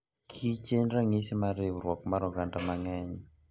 kich en ranyisi mar riwruok mar oganda mangeny.